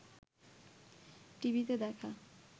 টিভিতে দেখা